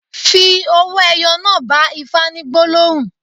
Fi owó ẹyọ náà bá Ifá ní gbólóhùn.